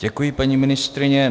Děkuji, paní ministryně.